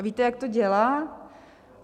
A víte, jak to dělá?